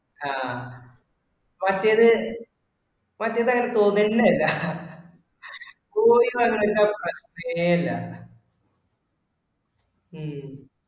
ആഹ് മറ്റേതു മറ്റേതു അങ്ങനെ തോന്നുക തന്നെ ഇല്ല പോയി വരണ പ്രശ്നമേ ഇല്ല. ഉം